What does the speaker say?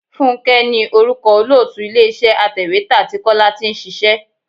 Fúnké ní orúkọ olóòtú ilé iṣẹ́ atèwétà tí Kọ́lá tí ń ṣíṣe.